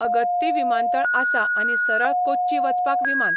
अगत्ती विमानतळ आसा आनी सरळ कोच्ची वचपाक विमान.